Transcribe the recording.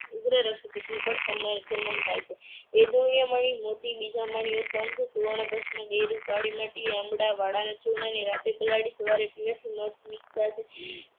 ઉગ્ર રક્તપીતની પણ શમ~શમન થાય છે. ચૂર્ણ ને રાત્રે પલાળી સવારે પીવાથી મધ